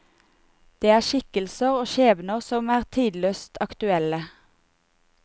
Det er skikkelser og skjebner som er tidløst aktuelle.